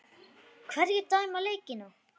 Hverjir dæma leikina?